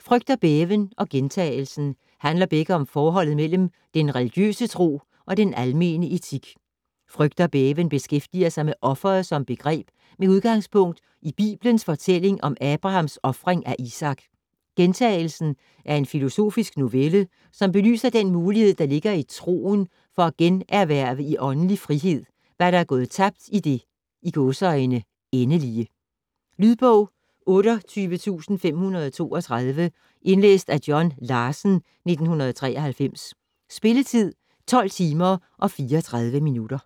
"Frygt og bæven" og "Gjentagelsen" handler begge om forholdet mellem den religiøse tro og den almene etik. "Frygt og bæven" beskæftiger sig med offeret som begreb med udgangspunkt i bibelens fortælling om Abrahams ofring af Isak. "Gjentagelsen" er en filosofisk novelle, som belyser den mulighed, der ligger i troen, for at generhverve i åndelig frihed, hvad der er gået tabt i det "endelige". Lydbog 28532 Indlæst af John Larsen, 1993. Spilletid: 12 timer, 34 minutter.